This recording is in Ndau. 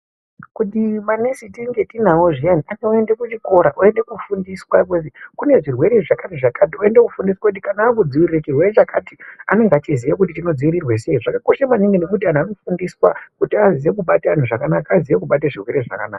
Kuti manesi tinge tinawo zviyani akaende kuchikora, oende koofundiswa kuti kune zvirwere zvakati zvakati , oende koofundiswa kuti kana akudzivirire chirwere chakati anenge echiziya kuti chinodzivirirwa sei, zvakakosha maningi ngekuti antu anofundiswa kuti aziye kubata antu zvakanaka, aziye kubata zvirwere zvakanaka.